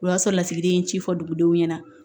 O y'a sɔrɔ lasigiden ye ci fɔ dugudenw ɲɛna